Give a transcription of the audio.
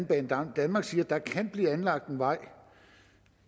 banedanmark siger at der kan blive anlagt en vej